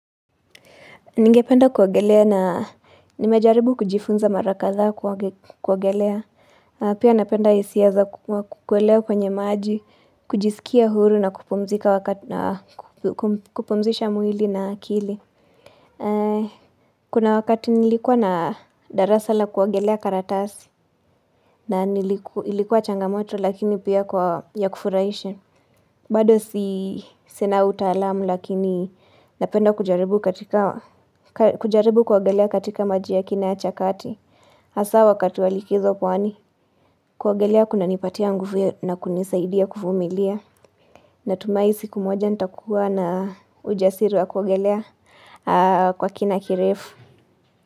Ningependa kuogelea na nimejaribu kujifunza mara kadhaa kuogelea. Pia napenda hisia za kukolea penye maji, kujisikia huru na kupumzisha mwili na kili. Kuna wakati nilikuwa na darasa la kuogelea karatasi. Na ilikuwa changamoto lakini pia kwa ya kufuraisha. Bado si sina utaalamu lakini napenda kujaribu kuogelea katika maji ya kina ya chakati Hasa wakati wa likizo pwani kuogelea kuna nipatia nguvu na kunisaidia kuvumilia Natumai siku moja nitakuwa na ujasiri wa kuogelea kwa kina kirefu.